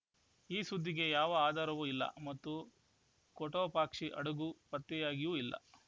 ಈ ಸುದ್ದಿಗೆ ಯಾವ ಆಧಾರವೂ ಇಲ್ಲ ಮತ್ತು ಕೊಟೊಪಾಕ್ಷಿ ಹಡಗು ಪತ್ತೆಯಾಗಿಯೂ ಇಲ್ಲ